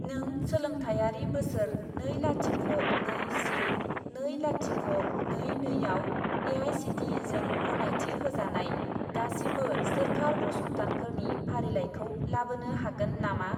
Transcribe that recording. नों सोलोंथायारि बोसोर नै लाथिख' नै से नै लाथिख' नै नै आव ए.आइ.सि.टि.इ.जों गनायथि होजानाय गासिबो सोरखार फसंथानफोरनि फारिलाइखौ लाबोनो हागोन नामा?